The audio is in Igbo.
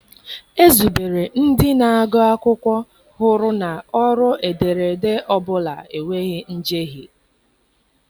Ezubere ndị na-agụ akwụkwọ hụrụ na ọrụ ederede ọ bụla enweghị njehie.